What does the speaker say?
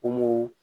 Kɔngɔ